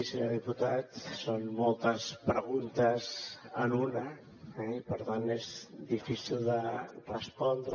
senyor diputat són moltes preguntes en una eh i per tant és difícil de respondre